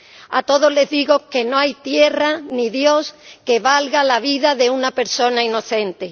A todos les digo que no hay tierra ni dios que valga la vida de una persona inocente.